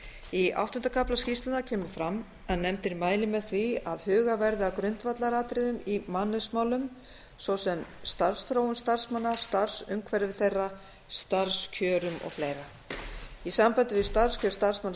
í áttunda kafla skýrslunnar kemur fram að nefndin mælir með því að hugað verið að grundvallaratriðum í mannauðsmálum svo sem starfsþróun starfsmanna starfsumhverfi þeirra og starfskjörum í sambandi við starfskjör starfsmanna